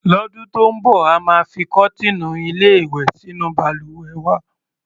Lọ́dún tó ń bọ̀, a máa fi kọ́tíìnù-ilé-ìwè sínú balùwẹ̀ wa.